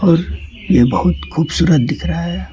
और ये बहुत खूबसूरत दिख रहा है।